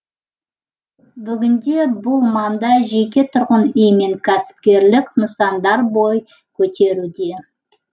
бүгінде бұл маңда жеке тұрғын үй мен кәсіпкерлік нысандар бой көтеруде